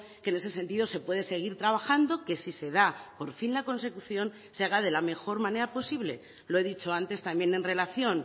que en ese sentido se puede seguir trabajando que si se da por fin la consecución se haga de la mejor manera posible lo he dicho antes también en relación